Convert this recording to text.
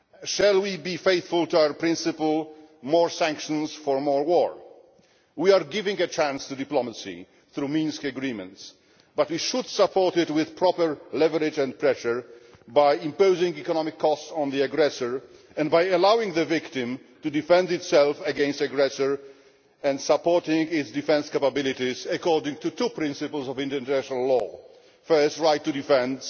Shall we be faithful to our principle more sanctions in response to more war'? We are giving a chance to diplomacy through the Minsk agreements, but we should support it with proper leverage and pressure, by imposing an economic cost on the aggressor, by allowing the victim to defend itself against the aggressor, and by supporting its defence capabilities according to two principles of international law first, the right to defend